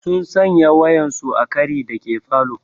Sun sanya waƴansu a ƙari dake falo.